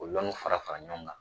Ol fara fara ɲɔgɔn kan